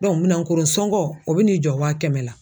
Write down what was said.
minɛnkoro sɔngɔ o bɛ n'i jɔ wa kɛmɛ la